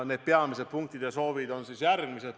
Need peamised punktid ja soovid on järgmised.